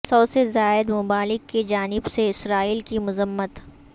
سو سے زائد ممالک کی جانب سے اسرائیل کی مذمت